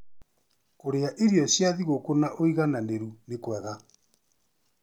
Kũrĩa irio cia thigũkũ na ũigananĩru nĩ kwega".